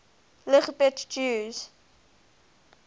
lgbt jews